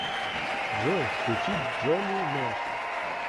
джой включи джонни нэш